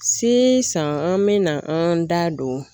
san an bɛna an da don